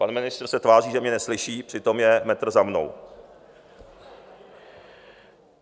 Pan ministr se tváří, že mě neslyší, přitom je metr za mnou.